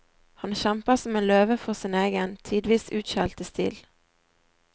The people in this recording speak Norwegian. Han kjemper som en løve for sin egen, tidvis utskjelte stil.